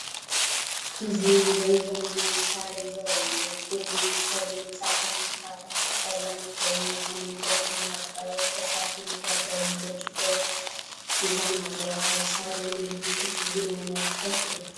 እዚ ምሉእን ዘመናውን ሳሎን ዘርኢ እዩ። እቲ ክፍሊ ብጸሊምን ጻዕዳን ሶፋታት ዝተሰለመ ኮይኑ፡ ኣብ መንጎኦም ድማ ብቆርበት ዝተሰርሐ መደርደሪን ብርጭቆ ዝተሰርሐ ጠረጴዛን ኣሎ። ኣብዚ ሳሎን እዚ ክትዝናነ ትፈቱ ዲኻ?